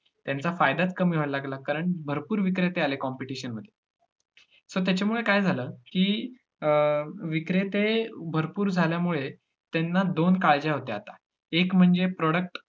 त्याचा फायदाच कमी व्हायला लागला, कारण भरपूर विक्रेते आले competition मध्ये so त्याच्यामुळे काय झालं. की अं विक्रेते भरपूर झाल्यामुळे त्यांना दोन काळज्या होत्या आता एक म्हणजे product